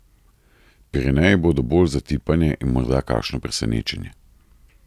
Pireneji bodo bolj za tipanje in morda kakšno presenečenje.